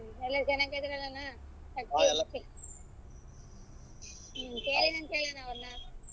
ಎಲ್ಲರೂ ಚೆನ್ನಗಿದರಲ್ಲಣ್ಣಾ ಹ್ಮ್ ಕೇಳಿದೆ ಅಂತ ಹೇಳಣ್ಣಾ ಅವರನ್ನ.